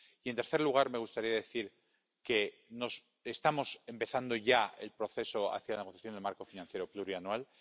Y, en tercer lugar, me gustaría decir que estamos empezando ya el proceso de la negociación del marco financiero plurianual.